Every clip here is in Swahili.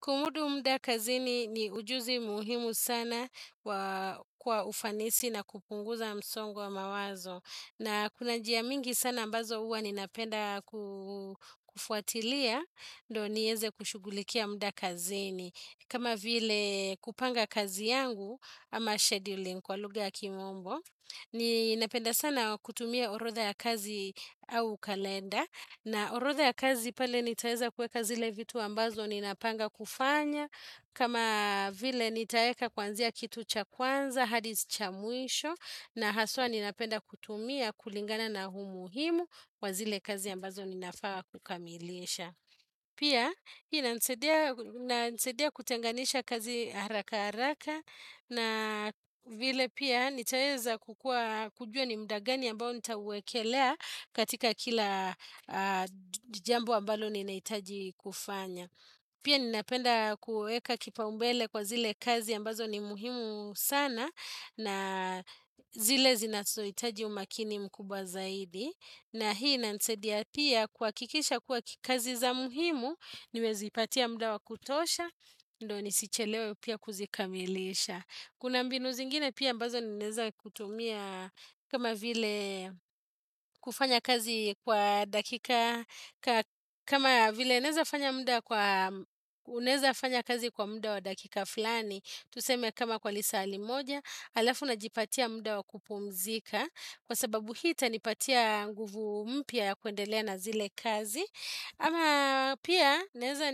Kumudu muda kazini ni ujuzi muhimu sana kwa ufanisi na kupunguza msongo wa mawazo. Na kuna njia nyingi sana ambazo huwa ninapenda kufuatilia, ndo niweze kushughulikia muda kazini. Kama vile kupanga kazi yangu ama scheduling kwa lugha ya kimombo. Ninapenda sana kutumia orodha ya kazi au kalenda. Na orodha ya kazi pale nitaweza kuweka zile vitu ambazo ninapanga kufanya. Kama vile nitaweka kuanzia kitu cha kwanza, hadi cha mwisho. Na haswa ninapenda kutumia kulingana na umuhimu wa zile kazi ambazo ninafaa kukamilisha. Pia, inanisaidia kutenganisha kazi haraka haraka. Na vile pia nitaweza kujua ni muda gani ambao nitawekelea katika kila jambo ambalo ninahitaji kufanya. Pia ninapenda kuweka kipaumbele kwa zile kazi ambazo ni muhimu sana na zile zinazohitaji umakini mkubwa zaidi. Na hii inanisaidia pia kuhakikisha kuwa kazi za muhimu nimezipatia muda wa kutosha ndo nisichelewe pia kuzikamilisha Kuna mbinu zingine pia ambazo ninaweza kutumia kama vile kufanya kazi kwa dakika kama vile naweza fanya kazi kwa muda wa dakika fulani Tuseme kama kwa lisaa limoja halafu najipatia muda wa kupumzika Kwa sababu hii itanipatia nguvu mpya ya kuendelea na zile kazi ama pia naweza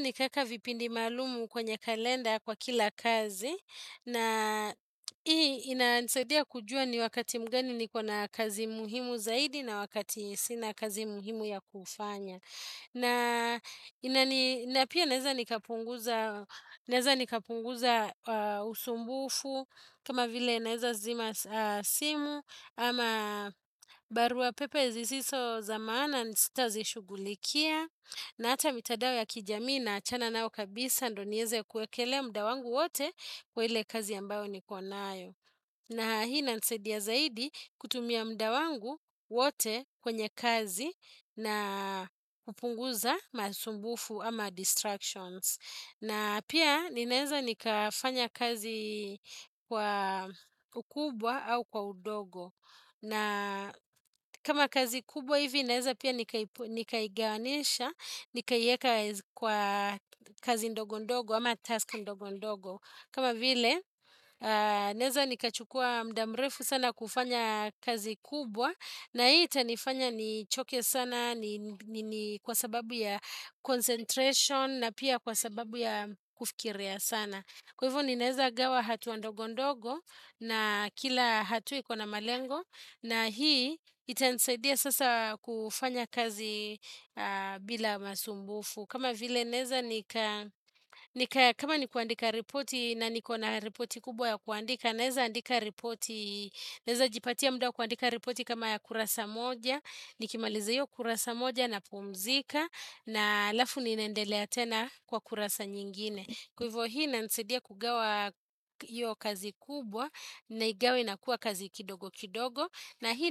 nikaweka vipindi maalumu kwenye kalenda kwa kila kazi na hii inanisaidia kujua ni wakati gani niko na kazi muhimu zaidi na wakati sina kazi muhimu ya kufanya na pia naweza nikapunguza usumbufu kama vile naweza zima simu ama barua pepe zisizo za maana sitazishughulikia na hata mitadao ya kijamii naachana nayo kabisa ndo niweze kuwekelea muda wangu wote kwa ile kazi ambayo niko nayo. Na hii inanisaidia zaidi kutumia muda wangu wote kwenye kazi na kupunguza masumbufu ama distractions. Na pia ninaweza nikafanya kazi kwa ukubwa au kwa udogo. Na kama kazi kubwa hivi ninaweza pia nikaigawanyisha, nikaiweka kwa kazi ndogo ndogo ama task ndogo ndogo. Kama vile, naweza nikachukua muda mrefu sana kufanya kazi kubwa na hii itanifanya nichoke sana kwa sababu ya concentration na pia kwa sababu ya kufikiria sana. Kwa hivyo ninaweza gawa hatua ndogondogo na kila hatua iko na malengo na hii itanisaidia sasa kufanya kazi bila masumbufu. Kama vile naweza ni kama ni kuandika ripoti na niko na ripoti kubwa ya kuandika Naweza jipatia muda wa kuandika ripoti kama ya kurasa moja Nikimaliza hiyo kurasa moja napumzika na halafu ninaendelea tena kwa kurasa nyingine Kwa hivyo hii inanisaidia kugawa hiyo kazi kubwa Naigawa inakuwa kazi kidogo kidogo na hii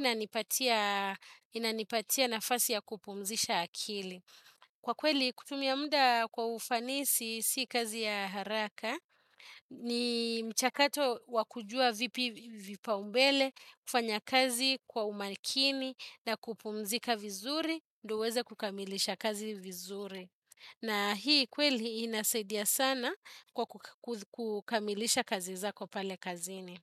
inanipatia nafasi ya kupumzisha akili Kwa kweli kutumia muda kwa ufanisi si kazi ya haraka, ni mchakato wa kujua vipaumbele, kufanya kazi kwa umakini na kupumzika vizuri, ndiyo uweze kukamilisha kazi vizuri. Na hii kweli inasaidia sana kwa kukamilisha kazi zako pale kazini.